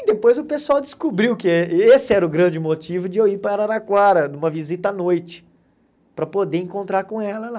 E depois o pessoal descobriu que esse era o grande motivo de eu ir para Araraquara, numa visita à noite, para poder encontrar com ela lá.